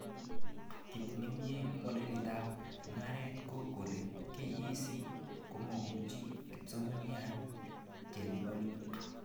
Kit neimi modelitab mugaret ko kole KEC komakochuti kipsomanink chelibani